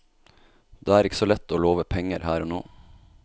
Det er ikke så lett å love penger her og nå.